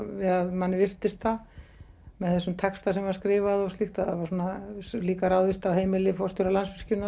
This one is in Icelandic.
manni virtist það með þessum texta sem var skrifað og slíkt það var líka ráðist á heimili forstjóra Landsvirkjunar